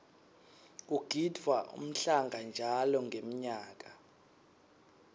kugidvwa umhlanga njalo ngenmyaka